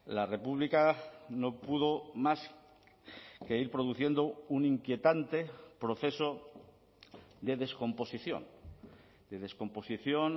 la república no pudo más que ir produciendo un inquietante proceso de descomposición de descomposición